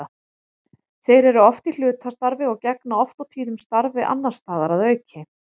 Þeir eru oft í hlutastarfi og gegna oft og tíðum starfi annars staðar að auki.